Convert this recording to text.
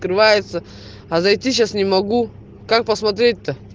открывается а зайти сейчас не могу как посмотреть то